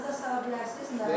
Yadınıza sala bilərsiniz?